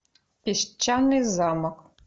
песчаный замок